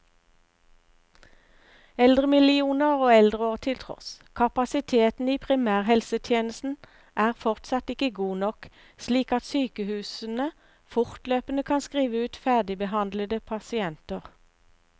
Eldremillioner og eldreår til tross, kapasiteten i primærhelsetjenesten er fortsatt ikke god nok, slik at sykehusene fortløpende kan skrive ut ferdigbehandlede pasienter.